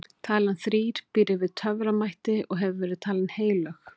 talan þrír býr yfir töframætti og hefur verið talin heilög